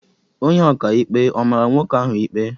Onye ọka ikpe á mara nwoke ahụ ikpe?